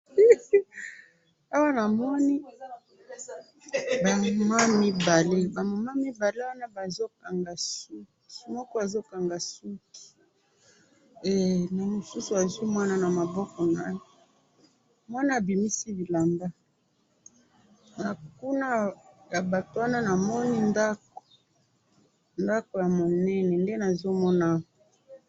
awa na moni ba mama mibale, ba mama mibale wana bazo kanga suki moko azo kanaga suki. eeeeh, na musu a' zui mwana na maboko na ye, mwana a bimisi bilamba na kuna ya batu wana na moni ndaku, ndaku ya munene nde nazo mona awa